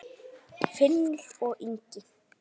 Finnur og Ingi.